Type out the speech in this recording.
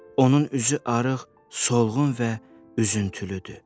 Onun üzü arıq, solğun və üzüntülüdür.